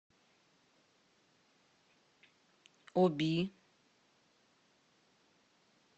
оби